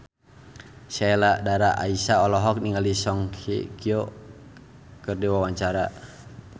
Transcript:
Sheila Dara Aisha olohok ningali Song Hye Kyo keur diwawancara